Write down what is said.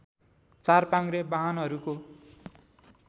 चार पाङ्ग्रे बाहनहरूको